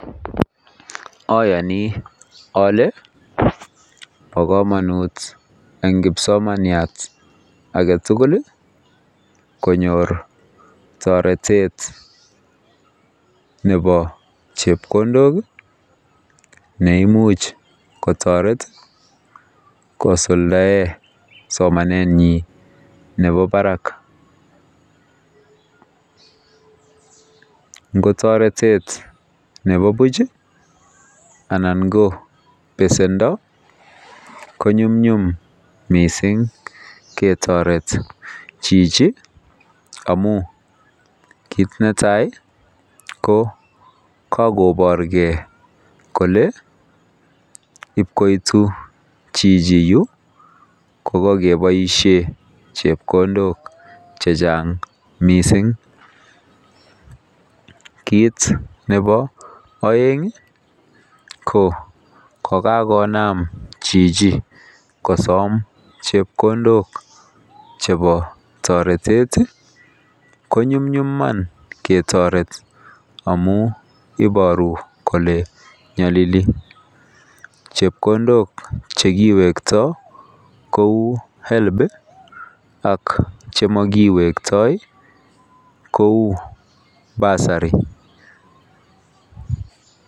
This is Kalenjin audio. Oyoni ole boy kamanut eng kipsomaniat agetugul iih konyor toretet nebo chepkondok neimuch kotoret kosuldaen somanenyin nebo barak ngo toretet nebo buch iih anan ko besendo ko nyumnyum mising ketoret chichi amun kit netai ko kagoborgen kole ibkoitu chito yuu ko kogeboisien chepkondok chechang mising kit nebo oeng iih kokakonam chichi kosom chepkondok chebo toretet iih ko nyumnyum Iman ketoret amun iboru Iman kole nyolili, chepkondok chekiwekto kou [help ] iih ak chemokiwekto kou [basury].